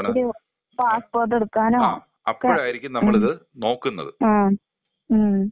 ഒരു പാസ്പോർട്ട് എടുക്കാനോ? ആ ഉം.